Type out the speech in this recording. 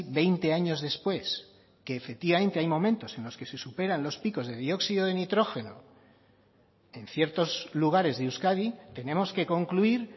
veinte años después que efectivamente hay momentos en los que se superan los picos de dióxido de nitrógeno en ciertos lugares de euskadi tenemos que concluir